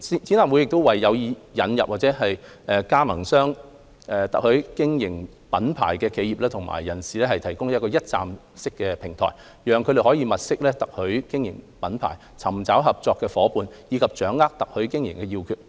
展覽會為有意引入或加盟特許經營品牌的企業或人士提供一站式平台，讓他們物色特許經營品牌、尋找合作夥伴，以及掌握特許經營要訣。